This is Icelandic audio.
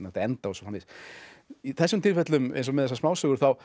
enda og svo framvegis í þessum tilfellum eins og með þessar smásögur þá